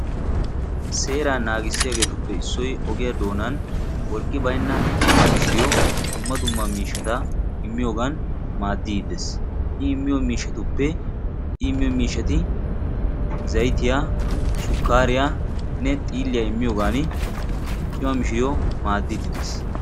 Seeraa naagissiyaagetuppe issoy ogiyaa doonan wolqqi baynna cimma mishiriyoo dumma dumma miishshat immiyoogan maaddidi de'ees. i immiyoo miishshati zaytiyaa sukkariyaa xiilliyaa immiyoogan cima mishiriyoo maaddidi de'ees.